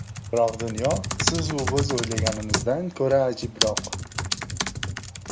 Biroq dunyo sizu biz o‘ylaganimizdan ko‘ra ajibroq!